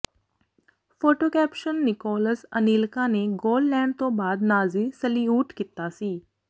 photo caption Nicolas Anelka ਨੇ goal ਲੈਣ ਤੋਂ ਬਾਅਦ ਨਾਜ਼ੀ ਸਲਿਊਟ ਕੀਤਾ ਸੀ